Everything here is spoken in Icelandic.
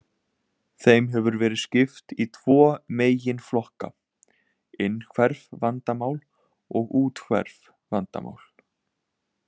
Þeim hefur verið skipt í tvo meginflokka, innhverf vandamál og úthverf vandamál.